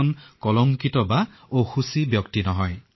ঠিক আছে ৰাম আপোনালৈ অশেষ শুভকামনা থাকিল